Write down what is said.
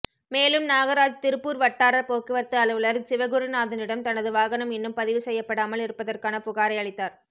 மேலும் நாகராஜ் திருப்பூர் வட்டார போக்குவரத்து அலுவலர் சிவகுருநாதனிடம் தனது வாகனம் இன்னும் பதிவு செய்யப்படாமல் இருப்பதற்கான புகாரை அளித்தார்